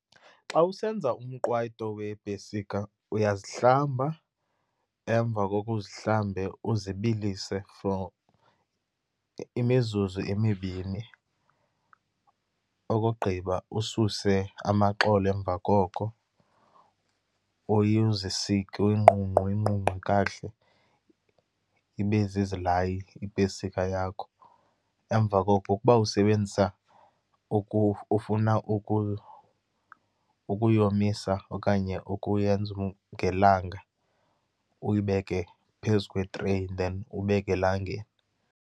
Xa usenza umqwayito weepesika, uyazihlamba. Emva koko, uzihlambe uzibilise for imizuzu emibini. Okugqiba ususe amaxolo, emva koko, uzisike, uyinqunqe uyinqunqe kakuhle, ibe zizilayi ipesika yakho. Emva koko ukuba usebenzisa ufuna ukuyomisa okanye ukuyenza ngelanga, uyibeke phezu kwetreyi then ubeke elangeni.